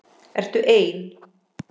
Ertu ein?